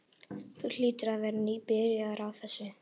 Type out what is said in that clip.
Þú hlýtur að vera nýbyrjaður á þessu.